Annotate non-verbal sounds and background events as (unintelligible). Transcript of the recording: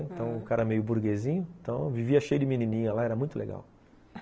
(unintelligible) Então o cara meio burguesinho, então vivia cheio de menininha lá, era muito legal.